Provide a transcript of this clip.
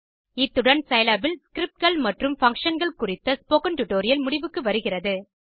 இத்துடன் சிலாப் ல் Scriptகள் மற்றும் Functionகள் குறித்த ஸ்போக்கன் டியூட்டோரியல் முடிவுக்கு வருகிறது